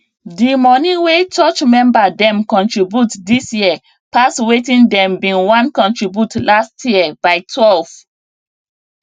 the money wey church member dem contribute this year pass wetin dem been wan contribute last year by 12